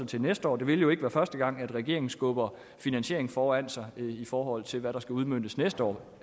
til næste år det vil jo ikke være første gang at regeringen skubber finansieringen foran sig i forhold til hvad der skal udmøntes næste år